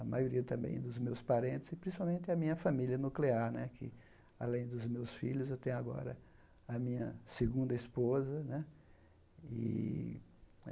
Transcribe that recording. A maioria também dos meus parentes e, principalmente, a minha família nuclear né, que, além dos meus filhos, eu tenho agora a minha segunda esposa né. ih